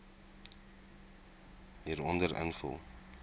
hieronder invul